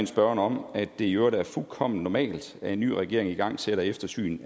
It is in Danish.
spørgeren om at det i øvrigt er fuldkommen normalt at en ny regering igangsætter eftersyn